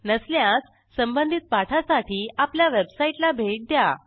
नसल्यास संबधित पाठांसाठी आपल्या वेबसाईटला भेट द्या